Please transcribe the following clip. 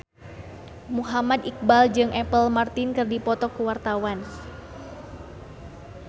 Muhammad Iqbal jeung Apple Martin keur dipoto ku wartawan